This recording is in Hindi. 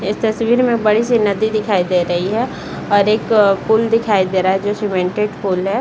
इस तस्वीर में बड़ी सी नदी दिखाई दे रही है और एक अ पुल दिखाई दे रहा है जो सीमेंटेड पुल है ।